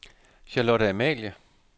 Charlotte Amalie